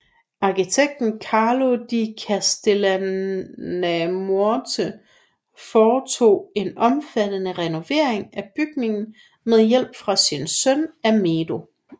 Arkitekten Carlo di Castellamonte foretog en omfattende renovering af bygningen med hjælp fra sin søn Amedeo